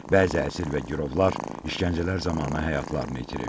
Bəzi əsir və girovlar işgəncələr zamanı həyatlarını itirib.